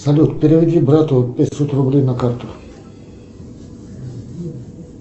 салют переведи брату пятьсот рублей на карту